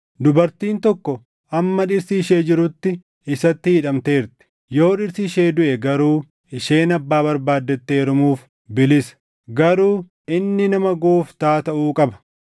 Dubartiin tokko hamma dhirsi ishee jirutti isatti hidhamteerti. Yoo dhirsi ishee duʼe garuu isheen abbaa barbaaddetti heerumuuf bilisa; garuu inni nama Gooftaa taʼuu qaba.